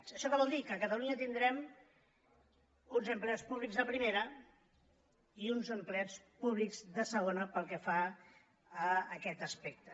això què vol dir que a catalunya tindrem uns empleats públics de primera i uns empleats públics de segona pel que fa a aquest aspecte